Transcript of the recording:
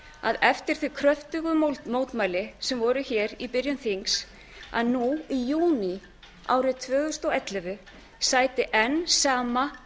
að eftir þau kröftugu mótmæli sem voru hér í byrjun þings að nú í júní árið tvö þúsund og ellefu sæti enn sama